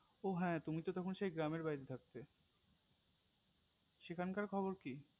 ও হ্যা তুমি তো তখন সেই গ্রামের বাড়িতে থাকতে সেখানকার খবর কি